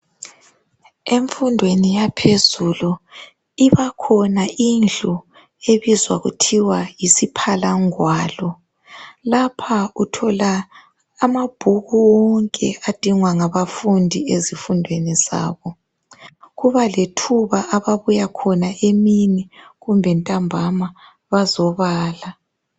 emfundweni yaphezulu ibakhona indlu ebizwa kuthiwa yisiphalangwalo lapha uthola amabhuku wonke adingwa ngabafundi ezifundweni zabo kuba lethuba ababuya khona emini kumbe lantambama bazobala